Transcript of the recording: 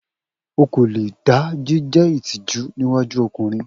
O ko le da jije itiju ni iwaju ọkunrin.